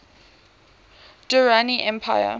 durrani empire